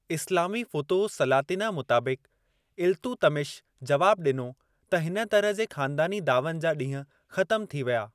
इस्लामी फुतुह-उस-सलातिनअ मुताबिक़, इल्तुतमिश जवाबु ॾिनो त हिन तरह जे ख़ानदानी दावनि जा ॾींहं ख़तमु थी विया।